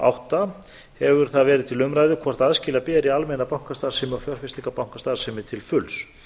átta hefur það verið til umræðu hvort aðskilja skuli almenna bankastarfsemi og fjárfestingarbankastarfsemi til fulls er þá